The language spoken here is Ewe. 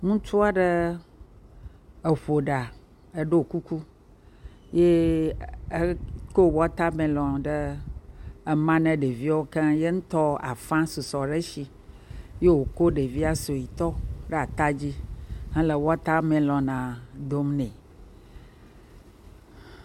Ŋutsu aɖe eƒo ɖa eye ɖɔ kuku eye wòkɔ watermelon ɖe ema na ɖeviwo eye ye ŋutɔ afã susɔ ɖe esi ye wòko ɖevoa suetɔ ɖe ata dzihele watermelona dom nɛ.